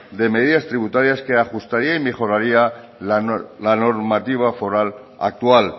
de medidas tributarias que ajustaría y mejoraría la normativa foral actual